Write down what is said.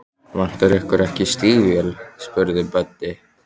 Vantar ykkur ekki stígvél? spurði Böddi.